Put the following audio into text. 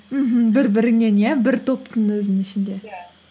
мхм бір біріңнен иә бір топтың өзінің ішінде иә